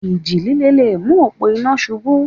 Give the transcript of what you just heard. Ìjì líle le mú òpó iná ṣubú.